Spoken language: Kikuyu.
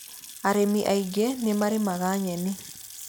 Arĩmi aingĩ nĩmarĩmaga nyeni